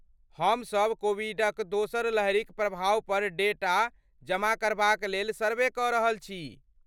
हम सब कोविडक दोसर लहरिक प्रभाव पर डेटा जमा करबाक लेल सर्वे कऽ रहल छी।